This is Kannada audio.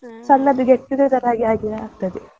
ಸಣ್ಣದು get together ಹಾಗೆ ಆಗ್ತದೆ.